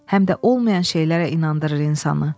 Həm də olmayan şeylərə inandırır insanı.